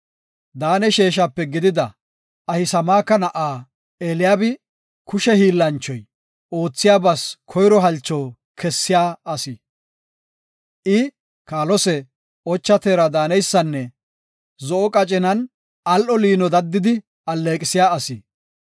Daane sheeshape gidida Ahisamaaka na7aa Eliyaabi, kushe hiillanchoy, oothiyabas koyro halcho kessiya asi; I, kaalose, ocha teera daaneysanne zo7o qacinan al7o liino daddidi alleeqisiya asi.